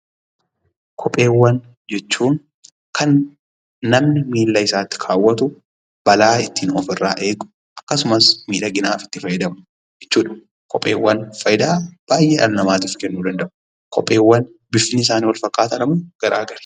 Kopheewwan jechuun kan namni miilla isaatti kaawwatu, balaa ittiin ofirraa eegu akkasumas miidhaginaaf itti fayyadamu jechuudha. Kopheewwan fayidaa baayyee dhala namaatif kennuu danda'u. Kopheewwan bifni isaanii wal fakkaataadhamoo garaa gari?